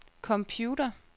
computer